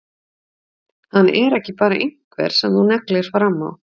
Hann er ekki bara einhver sem þú neglir fram á.